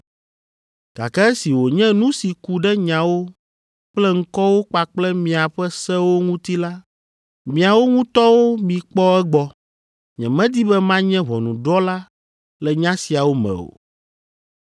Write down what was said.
gake esi wònye nu si ku ɖe nyawo kple ŋkɔwo kpakple miaƒe sewo ŋuti la, miawo ŋutɔwo mikpɔ egbɔ. Nyemedi be manye ʋɔnudrɔ̃la le nya siawo me o.”